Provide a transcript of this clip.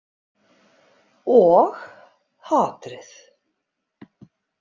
Og hatrið.